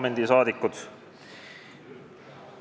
Head Riigikogu liikmed!